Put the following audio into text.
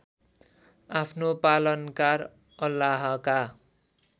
आफ्नो पालनकार अल्लाहका